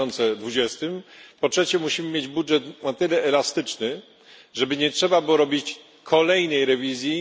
2020. Po trzecie musimy mieć budżet na tyle elastyczny, żeby nie trzeba było robić kolejnej rewizji.